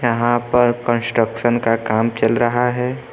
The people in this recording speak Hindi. यहां पर कंस्ट्रक्शन का काम चल रहा है।